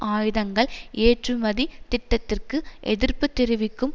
ஆயுதங்கள் ஏற்றுமதி திட்டத்திற்கு எதிர்ப்பு தெரிவிக்கும்